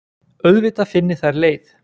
Auðvitað finni þær leið.